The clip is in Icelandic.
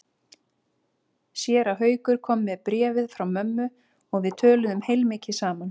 Séra Haukur kom með bréfið frá mömmu og við töluðum heilmikið saman.